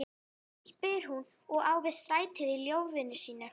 spyr hún, og á við strætið í ljóðinu sínu.